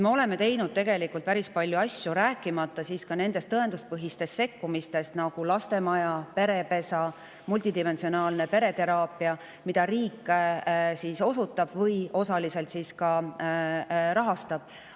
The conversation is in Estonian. Me oleme tegelikult teinud päris palju asju, rääkimata tõenduspõhistest sekkumistest, nagu lastemaja, perepesa ja multidimensiooniline pereteraapia, mida riik osutab või ka osaliselt rahastab.